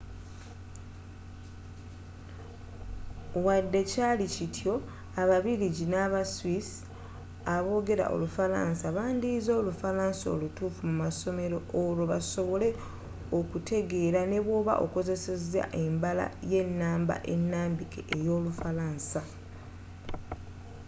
wadde kyali kityo ababirigi naba swiss abogera olufalansa bandiyize olufalansa olutuufu musomero olwo basobole okukutegeera nebwoba okozeseza embala y'enamba enambike eyolufalansa